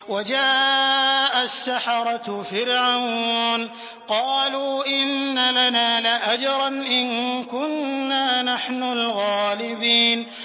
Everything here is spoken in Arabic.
وَجَاءَ السَّحَرَةُ فِرْعَوْنَ قَالُوا إِنَّ لَنَا لَأَجْرًا إِن كُنَّا نَحْنُ الْغَالِبِينَ